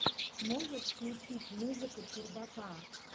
можешь включить музыка чердака